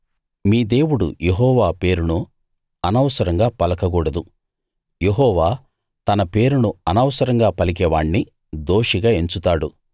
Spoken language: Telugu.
మీ దేవుడు యెహోవా పేరును అనవసరంగా పలకకూడదు యెహోవా తన పేరును అనవసరంగా పలికేవాణ్ణి దోషిగా ఎంచుతాడు